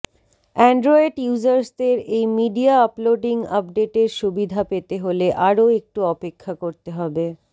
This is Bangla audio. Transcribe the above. অ্যান্ড্রয়েড ইউজার্সদের এই মিডিয়া আপলোডিং আপডেটের সুবিধা পেতে হলে আরও একটু অপেক্ষা করতে হবে